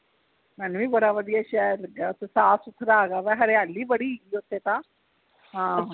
ਸਾਨੂੰ ਵੀ ਬੜਾ ਵਧਿਆ ਸ਼ਹਿਰ ਲਗਾ ਸਾਫ਼ ਸੁਥਰਾ ਹੈਗਾ ਵਾ ਹਰਿਆਲੀ ਬੜੀ ਓਥੇ ਤਾ ਹਾਂ